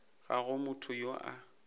ga go motho yo a